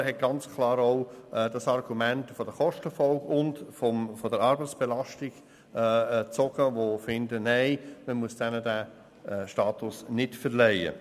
Auf der anderen Seite stehen die Argumente der Kostenfolge und der Arbeitsbelastung, welche gegen die Verleihung des Status sprechen.